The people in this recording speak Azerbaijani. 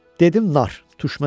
Dedim nar, turşməzə nar.